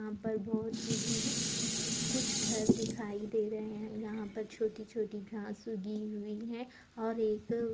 यहां पर बहुत ही दूर कुछ घर दिखाई दे रहे है यहां पर छोटी-छोटी घास उगी हुई है और एक --